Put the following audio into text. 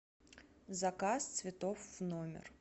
заказ цветов в номер